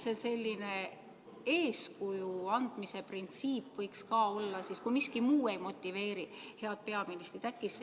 Äkki selline eeskuju andmise printsiip võiks olla, kui miski muu ei motiveeri head peaministrit?